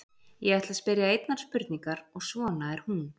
Ég ætla að spyrja einnar spurningar og svona er hún: